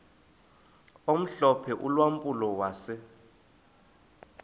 omhlophe ulampulo wase